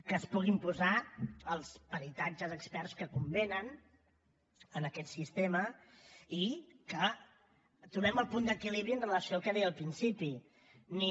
que es puguin posar els peritatges experts que convenen en aquest sistema i que trobem el punt d’equilibri amb relació al que deia al principi ni